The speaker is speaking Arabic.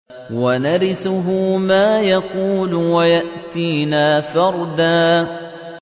وَنَرِثُهُ مَا يَقُولُ وَيَأْتِينَا فَرْدًا